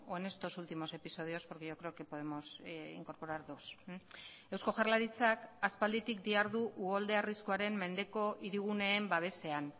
en estos últimos episodios porque yo creo que podemos incorporar dos eusko jaurlaritzak aspalditik dihardu uholde arriskuaren mendeko hiriguneen babesean